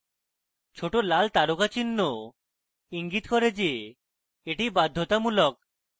ছোট লাল তারকাচিহ্ন ইঙ্গিত করে the the বাধ্যতামূলক